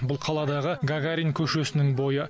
бұл қаладағы гагарин көшесінің бойы